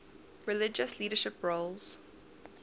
religious leadership roles